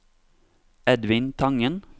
Edvin Tangen